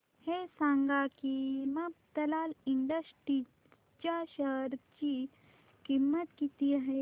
हे सांगा की मफतलाल इंडस्ट्रीज च्या शेअर ची किंमत किती आहे